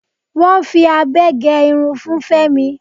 Wọ́n fi abẹ gé irun fun Fémi.